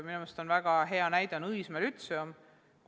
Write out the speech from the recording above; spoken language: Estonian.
Minu arust on väga hea näide Õismäe lütseum.